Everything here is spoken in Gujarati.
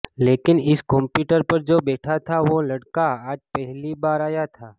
લેકીન ઇસ કમ્પ્યુટર પર જો બૈઠા થા વો લડકા આજ પહેલી બાર આયા થા